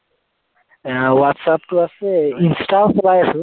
আহ ৱাটচএপটো আছে ইন্সটাও চলাই আছো।